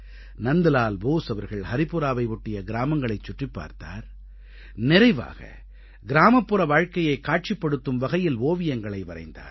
நந்த்லால் போஸ் அவர்கள் ஹரிபுராவை ஒட்டிய கிராமங்களைச் சுற்றிப் பார்த்தார் நிறைவாக கிராமப்புற வாழ்க்கையைக் காட்சிப் படுத்தும் வகையில் ஓவியங்களை வரைந்தார்